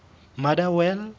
motherwell